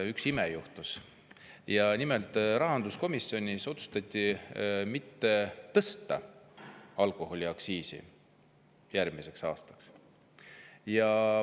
Üks ime juhtus, nimelt otsustati rahanduskomisjonis mitte tõsta alkoholiaktsiisi järgmiseks aastaks.